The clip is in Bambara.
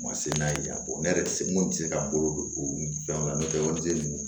U ma se n'a ye ka bɔ ne yɛrɛ tɛ se mun tɛ se ka bolo don u fɛnw la n'o tɛ wari tɛ ninnu